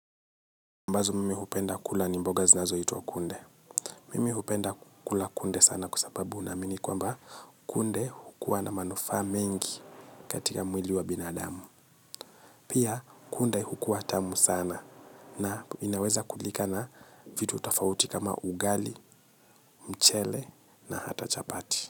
Ambazo mimi hupenda kula ni mboga zinazoitwa kunde. Mimi hupenda kula kunde sana kwa sababu naamini kwamba kunde hukua na manufaa mengi katika mwili wa binadamu. Pia kunde hukua tamu sana na inaweza kulika na vitu utafauti kama ugali, mchele na hata chapati.